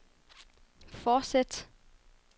fortsæt